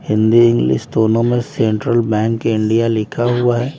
Hindi English दोनों में central bank India लिखा हुआ है।